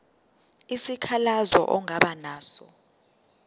isikhalazo ongaba naso